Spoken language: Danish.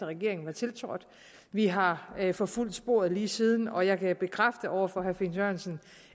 regeringen var tiltrådt vi har forfulgt sporet lige siden og jeg kan bekræfte over for herre finn sørensen